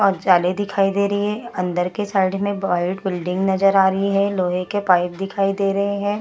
और जाले दिखाई दे रही हैं। अंदर के साइड में एक वाईट बिल्डिंग नज़र आ रही है। लोहे के पाइप दिखाई दे रहे हैं।